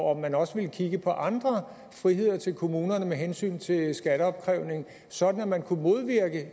om man også vil kigge på andre friheder til kommunerne med hensyn til skatteopkrævning sådan at man